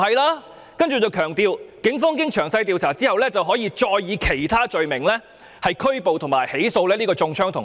他說當然不是，並強調警方經詳細調查後，可以其他罪名拘捕和起訴中槍的同學。